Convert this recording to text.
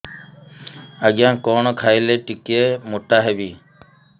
ଆଜ୍ଞା କଣ୍ ଖାଇଲେ ଟିକିଏ ମୋଟା ହେବି